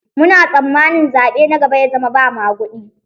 Muna tsamanin zaɓe na gaba ya zama ba maguɗi.